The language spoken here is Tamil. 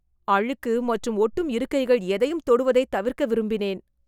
அழுக்கு மற்றும் ஒட்டும் இருக்கைகள் எதையும் தொடுவதைத் தவிர்க்க விரும்பினேன்